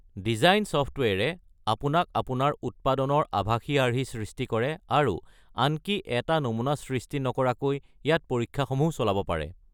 Design ছফ্টৱেৰে আপোনাক আপোনাৰ উৎপাদনৰ আভাসী আৰ্হি সৃষ্টি কৰে আৰু আনকি এটা নমুনা সৃষ্টি নকৰাকৈ ইয়াত পৰীক্ষাসমূহ চলাব পাৰে।